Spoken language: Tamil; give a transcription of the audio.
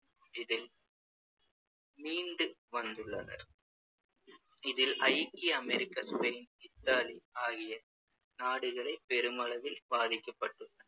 இதில் மீண்டு வந்துள்ளனர் இதில் ஐக்கிய அமெரிக்கா, ஸ்பெயின், இத்தாலி ஆகிய நாடுகளே பெருமளவில் பாதிக்கப்பட்டுள்ளன